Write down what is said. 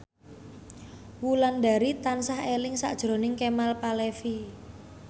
Wulandari tansah eling sakjroning Kemal Palevi